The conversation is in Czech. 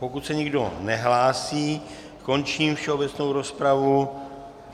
Pokud se nikdo nehlásí, končím všeobecnou rozpravu.